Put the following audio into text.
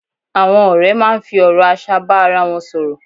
Àwọn ọ̀rẹ́ máa ń fi ọ̀rọ̀ aṣa bá ara wọn sọ̀rọ̀